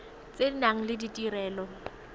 tse di nang le ditirelo